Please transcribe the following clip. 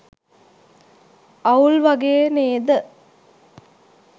අවුල් වගේ නේද